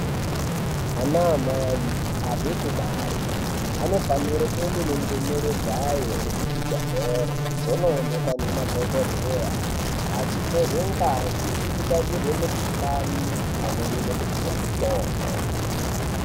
Ana amai abve kubare anofanire kuende nendumure dzayo kuzvibhehlere dzonoonekwa nemadhokodheya achitorwe ngazi kuti atarirwe mikuhlani pamweni nekupiwa mitombo.